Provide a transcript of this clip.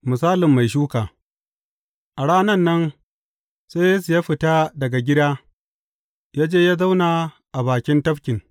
Misalin mai shuka A ranan nan sai Yesu ya fita daga gida ya je ya zauna a bakin tafkin.